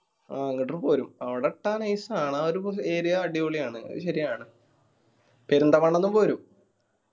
ആ എന്നിട്ടും പോരും അവിടെ ഇട്ടാ nice ആണ്. ആ ഒരു area അടിപൊളിയാണ് അത് ശെരിയാണ്. പെരിന്തമണ്ണ ന്നും പോരും